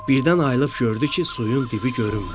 Birdən ayılıb gördü ki, suyun dibi görünmür.